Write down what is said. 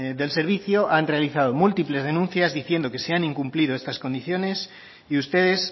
del servicio han realizado múltiples denuncias diciendo que se han incumplido estas condiciones y ustedes